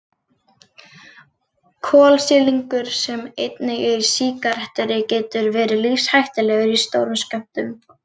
Kolsýrlingur sem einnig er í sígarettureyk getur verið lífshættulegur í stórum skömmtum.